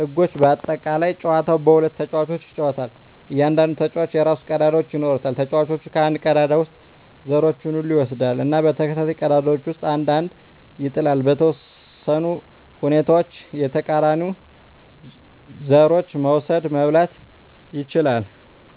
ህጎች (በአጠቃላይ) ጨዋታው በሁለት ተጫዋቾች ይጫወታል። እያንዳንዱ ተጫዋች የራሱን ቀዳዳዎች ይኖራል። ተጫዋቹ ከአንድ ቀዳዳ ውስጥ ዘሮቹን ሁሉ ይወስዳል እና በተከታታይ ቀዳዳዎች ውስጥ አንድ አንድ ይጥላል። . በተወሰኑ ሁኔታዎች የተቃራኒውን ዘሮች መውሰድ (መብላት) ይችላል።